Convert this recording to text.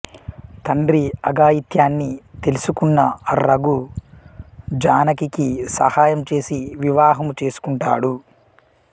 తండ్రి అఘాయత్యాన్ని తెలుసుకున్న రఘు జానకికి సహాయం చేసి వివాహము చేసుకుంటాడు